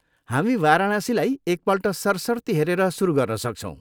हामी वाराणसीलाई एकपल्ट सरसर्ती हेरेर सुरु गर्न सक्छौँ।